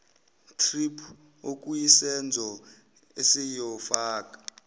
thrip okuyisenzo esiyofaka